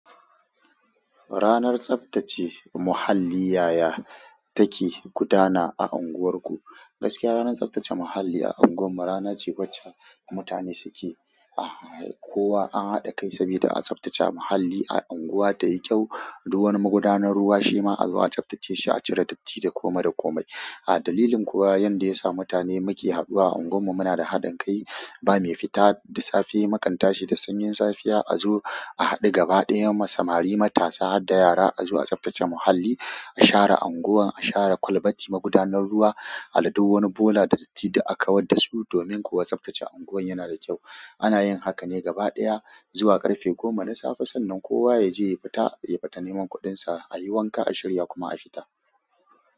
Ranar tsaftace muhalli, yaya take gudana a unguwarku? Gaskiya ranar tsaftace muhalli a unguwar mu rana wacce mutane suke a haɗe kai saboda a tsaftace muhalli a unguwa tayi kyau. Duk wani magudanar ruwa shima a zuwa a tsaftace shi a cire datti da komai da komai. A dalilin kuwa yanda yasa mutane muke haɗuwa a unguwarmu munada haɗin kai ba mai fita da safe makan tashi da sanyin safiya a zo a haɗu gaba ɗaya, mu samari matasa harda yara azo a tsaftace muhalli. A share unguwar, a share kwalbati magudanar ruwa, a haɗo wani bola da datti duk a kawar dasu domin kuwa tsaftace unguwar yanada kyau. Ana yin hakan ne gaba ɗaya zuwa ƙarfe goma da safe. Sannan kowa yaje ya fita ya fita neman kuɗinsa, ayi wanka a shirya kuma a fita.